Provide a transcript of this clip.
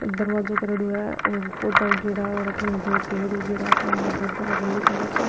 दरवाजो करेड़ा है और पौधा उगेडा और अठीने दो पेड़ उगेडा सामने बोर्ड लागेडो ब्लू कलर को।